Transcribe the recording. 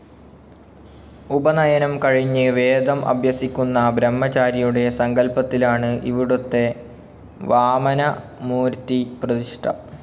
ഉപനയനം കഴിഞ്ഞ് വേദം അഭ്യസിക്കുന്ന ബ്രഹ്മചാരിയുടെ സങ്കല്പ്പത്തിലാണ് ഇവിടുത്തെ വാമനമൂര്ത്തി പ്രതിക്ഷ്ഠ.